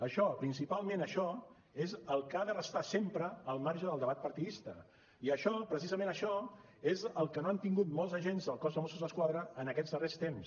això principalment això és el que ha de restar sempre al marge del debat partidista i això precisament això és el que no han tingut molts agents del cos de mossos d’esquadra en aquests darrers temps